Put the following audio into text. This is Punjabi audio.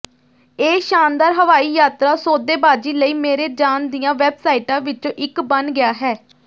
ਇਹ ਸ਼ਾਨਦਾਰ ਹਵਾਈ ਯਾਤਰਾ ਸੌਦੇਬਾਜ਼ੀ ਲਈ ਮੇਰੇ ਜਾਣ ਦੀਆਂ ਵੈਬਸਾਈਟਾਂ ਵਿੱਚੋਂ ਇੱਕ ਬਣ ਗਿਆ ਹੈ